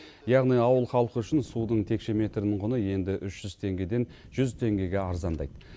яғни ауыл халқы үшін судың текше метрінің құны енді үш жүз теңгеден жүз теңгеге арзандайды